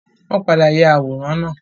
Wọ́n padà ya àwòrán náà.